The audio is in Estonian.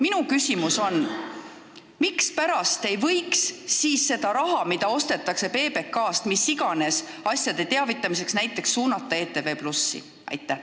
Minu küsimus on, mispärast ei võiks seda raha, mille eest ostetakse PBK-lt mis iganes asjade teavitamiseks saateaega, suunata näiteks ETV+-ile.